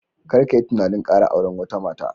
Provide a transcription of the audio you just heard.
Kar ka yi tunanin kara auren wata mata